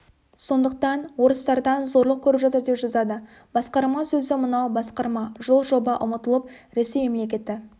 сондықтан орыстардан зорлық көріп жатыр деп жазады басқарма сөзі мынау басқарма жол жоба ұмытылып ресей мемлекеті